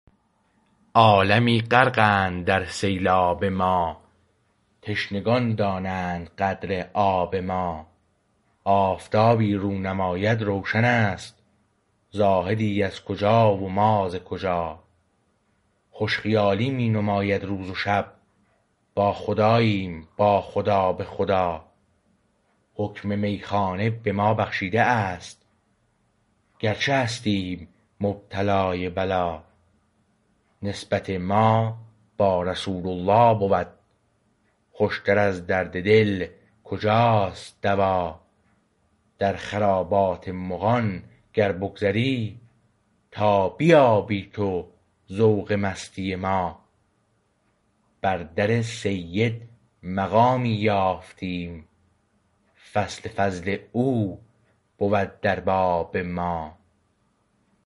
عالمی غرقند در سیلاب ما تشنگان دانند قدر آب ما آفتابی رو نماید روشن است زاهدی از کجا و ما ز کجا خوش خیالی می نماید روز و شب با خداییم با خدا به خدا حکم میخانه به ما بخشیده است گرچه هستیم مبتلای بلا نسبت ما با رسول الله بود خوشتر از درد دل کجا است دوا در خرابات مغان گر بگذری تا بیابی تو ذوق مستی ما بر در سید مقامی یافتیم فصل فضل او بود در باب ما